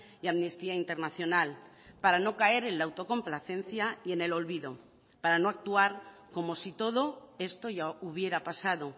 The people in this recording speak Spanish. y amnistía internacional para no caer en la autocomplacencia y en el olvido para no actuar como si todo esto ya hubiera pasado